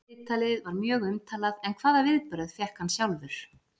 Viðtalið var mjög umtalað en hvaða viðbrögð fékk hann sjálfur?